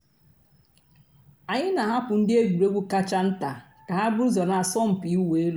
ányị́ nà-àhapụ́ ndị́ ègwùrégwú kàchà ntá kà hà búrú ụ́zọ́ nà àsọ̀mpị́ ị̀wụ́ èlú.